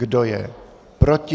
Kdo je proti?